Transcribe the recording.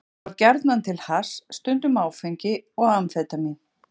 Þá var gjarnan til hass, stundum áfengi og amfetamín.